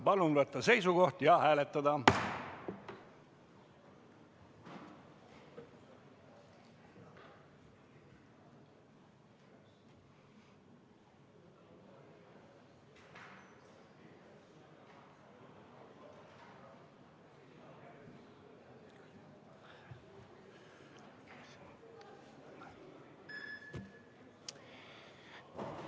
Palun võtta seisukoht ja hääletada!